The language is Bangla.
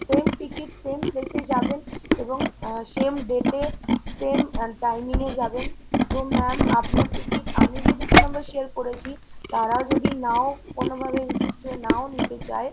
same ticket same place এ যাবেন এবং same date এ same timing এ যাবেন। তো ma'am আপনার ticket আমি যে দুটো number share করেছি তারা যদি নাও কোনোভাবে insist হয়ে নাও নিতে চায়